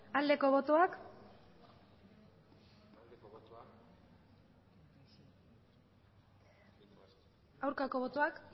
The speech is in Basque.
aldeko botoak aurkako botoak